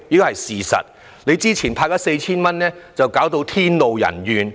還有，你早前派 4,000 元弄致天怒人怨。